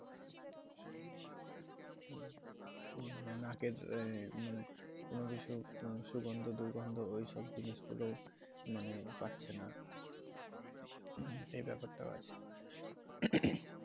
নাকের মানে কোন কিছু সুগন্ধ দুর্গন্ধ ওই সব জিনিস গুলো মানে পাচ্ছে না এ ব্যাপারটাও আছে